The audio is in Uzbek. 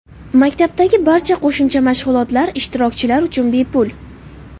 Maktabdagi barcha qo‘shimcha mashg‘ulotlar ishtirokchilar uchun bepul.